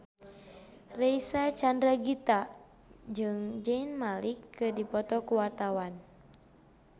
Reysa Chandragitta jeung Zayn Malik keur dipoto ku wartawan